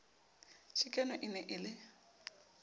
chikano e ne e le